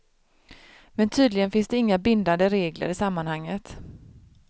Men tydligen finns det inga bindande regler i sammanhanget.